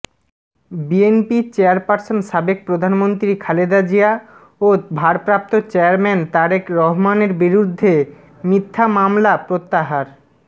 বিএনপির চেয়ারপার্সন সাবেক প্রধানমন্ত্রী খালেদা জিয়া ও ভারপ্রাপ্ত চেয়ারম্যান তারেক রহমানের বিরুদ্ধে মিথ্যা মামলা প্রত্যাহার